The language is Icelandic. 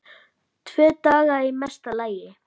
Tvo daga í mesta lagi.